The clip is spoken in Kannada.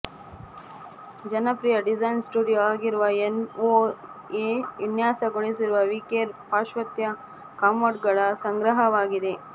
ಜನಪ್ರಿಯ ಡಿಸೈನ್ ಸ್ಟುಡಿಯೊ ಆಗಿರುವ ಎನ್ಒಎ ವಿನ್ಯಾಸಗೊಳಿಸಿರುವ ವಿಕೇರ್ ಪಾಶ್ಚಾತ್ಯ ಕಮೋಡ್ಗಳ ಸಂಗ್ರಹವಾಗಿದೆ